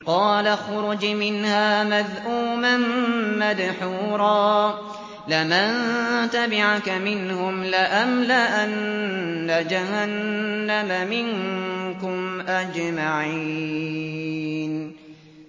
قَالَ اخْرُجْ مِنْهَا مَذْءُومًا مَّدْحُورًا ۖ لَّمَن تَبِعَكَ مِنْهُمْ لَأَمْلَأَنَّ جَهَنَّمَ مِنكُمْ أَجْمَعِينَ